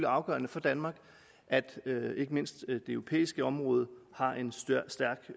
afgørende for danmark at ikke mindst det europæiske område har en stærk